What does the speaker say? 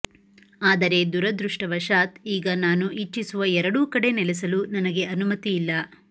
ಆದರೆ ದುರದೃಷ್ಟವಶಾತ್ ಈಗ ನಾನು ಇಚ್ಛಿಸುವ ಎರಡೂ ಕಡೆ ನೆಲೆಸಲು ನನಗೆ ಅನುಮತಿ ಇಲ್ಲ